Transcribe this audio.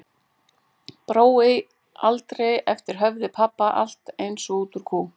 Brói aldrei eftir höfði pabba, alltaf eins og út úr kú.